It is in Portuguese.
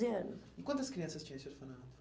anos. E quantas crianças tinha esse orfanato?